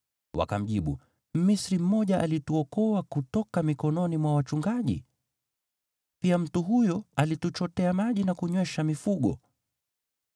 Wakamjibu, “Mmisri mmoja alituokoa kutoka mikononi mwa wachungaji. Pia mtu huyo alituchotea maji na kunywesha mifugo.”